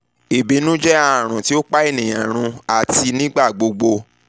ibinu jẹ arun ti o pa eniyan run ati nigbagbogbo idena dara ju itọju lọ